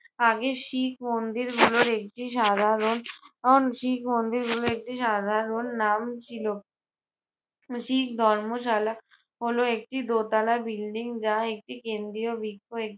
আগে শিক মন্দির গুলোর একটি সাধারণ শিখ মন্দির গুলির একটি সাধারণ নাম ছিল। উহ শিখ ধর্মশালা হলো একটি দোতালা building যা একটি কেন্দ্রীয় বৃক্ষ